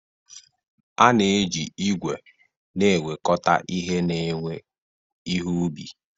A na-eji igwe na-ewekọta ihe na-ewe ihe ubi.